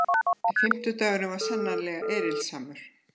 Fimmtudagurinn var sannarlega erilsamur.